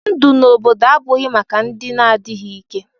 Ndụ n'obodo abụghị maka ndị na-adịghị ike.